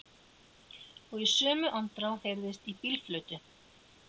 Og í sömu andrá heyrðist í bílflautu.